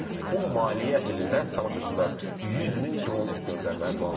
Bu maliyyə ilində, əziz tamaşaçılar, 100 min dron göndərməyi planlaşdırılır.